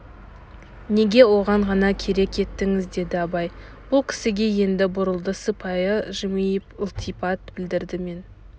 неге оны ғана керек еттіңіз деді абай бұл кісіге енді бұрылды сыпайы жымиып ілтипат білдірді мен